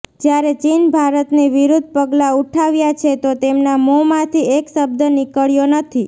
જ્યારે ચીન ભારતની વિરૂદ્ધ પગલાં ઉઠાવ્યા છે તો તેમના મોંમાંથી એક શબ્દ નીકળ્યો નથી